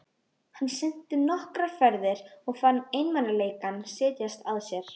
Hann synti nokkrar ferðir og fann einmanaleikann setjast að sér.